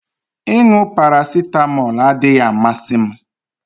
Ịṅụ paracetamol adịghị amasị m